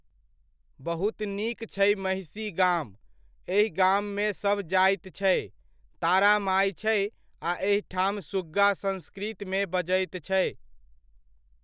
बहुत नीक छै महिषी गाम, एहि गाममे सभ जाति छै, तारा माइ छै आ एहिठाम सुग्गा संस्कृतमे बजैत छै।